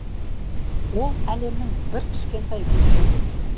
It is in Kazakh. ол әлемнің бір кішкентай бөлшегі